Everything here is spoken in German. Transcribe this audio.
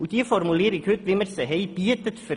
Die heutige Formulierung bietet dafür keine Gewähr.